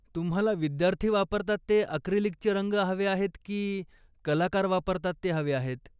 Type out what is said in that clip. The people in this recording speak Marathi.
तुम्हाला विद्यार्थी वापरतात ते अक्रीलिकचे रंग हवे आहेत की कलाकार वापरतात ते हवे आहेत?